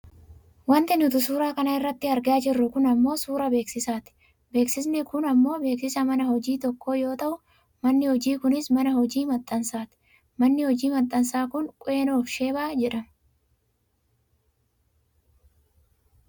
Wanti nuti suuraa kana irratti argaa jirru kun ammoo suuraa beeksisaati. Beeksisni kun ammoo beeksisa mana hojii tokkoo yoo ta'u manni hojii kunis mana hojii maxxansaati .manni hojii maxxansaa kun Queen of sheebaa jedhama.